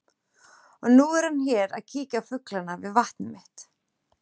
Og nú er hann hér að kíkja á fuglana við vatnið mitt.